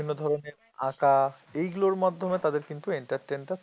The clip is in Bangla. বিভিন্ন ধরনের আঁকা এগুলোর মাধ্যমে তাদের কিন্তু entertain টা